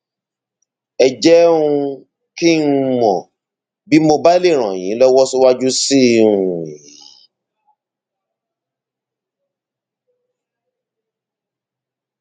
ẹ jẹ um kí n mọ bí mo bá lè ràn yín lọwọ síwájú sí um i